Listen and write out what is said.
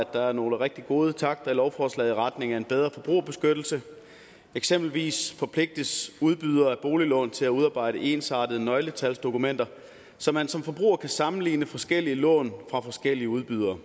der er nogle rigtig gode takter i lovforslaget i retning af en bedre forbrugerbeskyttelse eksempelvis forpligtes udbydere af boliglån til at udarbejde ensartede nøgletalsdokumenter så man som forbruger kan sammenligne forskellige lån fra forskellige udbydere